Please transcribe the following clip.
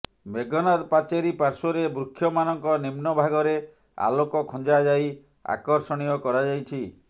ମେଘନାଦ ପାଚେରି ପାର୍ଶ୍ବରେ ବୃକ୍ଷମାନଙ୍କ ନିମ୍ନ ଭାଗରେ ଆଲୋକ ଖଞ୍ଜା ଯାଇ ଆକର୍ଷଣୀୟ କରାଯାଇଛି